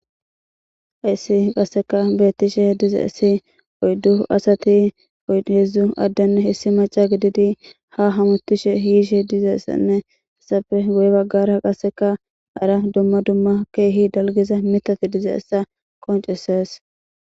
hayssi qasseka beettishe dizeysi oyddu asati heedzdzu addenn hessi maca gididi ha hamutishe hiishe dizeessenne essafe goy baggara qasseka ara dumma dumma keehi dalgeza mitati dize essa qonceses